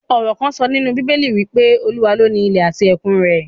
Ọ̀rò kán sọ nínú bíbélì wí pé, Olúwa ló ni ilẹ̀ àti ẹ̀kun rẹ̀